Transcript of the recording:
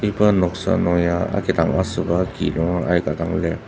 iba noksa nung ya akhidang asüba ki nungera aika dang lir.